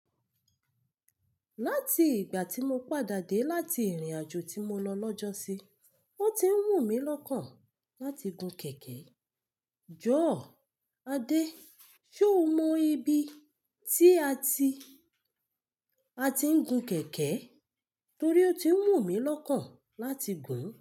Láti ìgbà tí mo padà dé láti ìrìnàjò tí mo lọ lọ́jọ́ sí, o ti ń wù mí lọ́kàn láti gun kẹ̀kẹ́. Jọ̀ọ́ Adé, ṣé o mọ ibi tí a ti, a ti ń gun kẹ̀kẹ́? Torí ó ti ń wù mí lọ́kàn láti gùn ún.